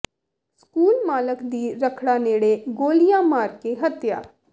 school ਮਾਲਕ ਦੀ ਰੱਖੜਾ ਨੇੜੇ ਗੋਲੀਆਂ ਮਾਰ ਕੇ ਹੱਤਿਆ